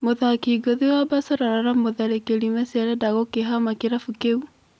Mũthaki ngũthi wa Baselona na mũtharĩkĩri Mesi arenda gũkĩhama kĩrabu kĩu.